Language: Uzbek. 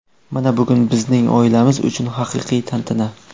Mana bugun bizning oilamiz uchun haqiqiy tantana.